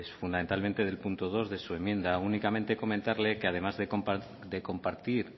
fundamentalmente del punto dos de su enmienda únicamente comentarle que además de compartir